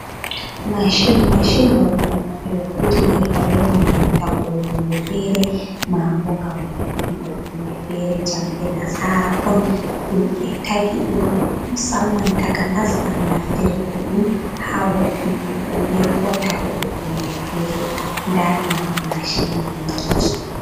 Mashin, mashin ɗo ɗum hunde ɓe hutindirta be man ngam tagugo hunde fere, mabo ngam vo’’ingo hunde fere jamɗe nasara on, ɗum ɓe tagi ɗum musamman takanas ngam naftir ko ɗum ha wo’ingo hunde, ko tagugo hunde fere, nda none mashin man no wa'i